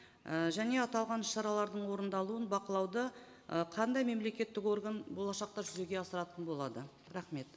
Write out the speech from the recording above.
і және аталған шаралардың орындалуын бақылауды ы қандай мемлекеттік орган болашақта жүзеге асыратын болады рахмет